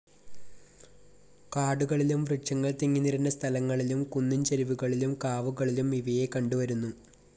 കാടുകളിലും, വൃക്ഷങ്ങൾ തിങ്ങിനിറഞ്ഞ സ്ഥലങ്ങളിലും, കുന്നിൻ ചെരിവുകളിലും, കാവുകളിലും ഇവയെ കണ്ടുവരുന്നു.